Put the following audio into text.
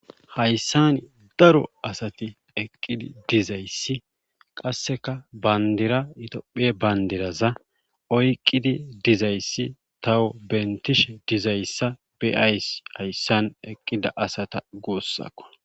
hayssan daro asati eqqidi dizayssi qasseka bandira yitopphiya bandiraza oyqqidi dizayssi tawo bentishe dizayssa beyayssi hayssan eqqida asata guussakko